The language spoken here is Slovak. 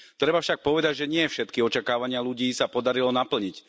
Treba však povedať, že nie všetky očakávania ľudí sa podarilo naplniť.